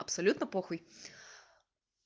абсолютно похуй